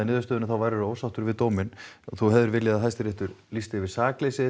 niðurstöðunni þá værir þú ósáttur við dóminn þú hefðir viljað að Hæstiréttur lýsti yfir sakleysi